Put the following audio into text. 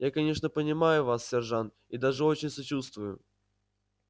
я конечно понимаю вас сержант и даже очень сочувствую